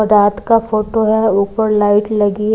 रात का फोटो है ऊपर लाइट लगी है।